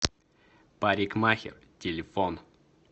парикмахер телефон